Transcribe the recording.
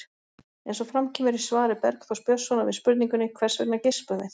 Eins og fram kemur í svari Bergþórs Björnssonar við spurningunni Hvers vegna geispum við?